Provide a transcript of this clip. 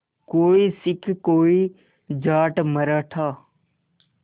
कोई सिख कोई जाट मराठा